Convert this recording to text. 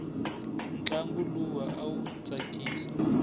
ntlangu luwa awu tsakisa